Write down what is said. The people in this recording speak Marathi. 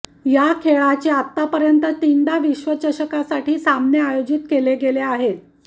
या खेळाचे आत्तापर्यंत तीनदा विश्वचषकासाठी सामने आयोजित केले गेले आहेत